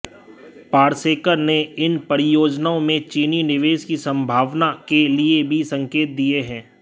पारसेकर ने इन परियोजनाओं में चीनी निवेश की संभावना के भी संकेत दिए